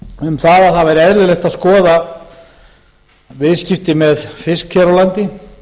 um það að það væri eðlilegt að skoða viðskipti með fisk hér á landi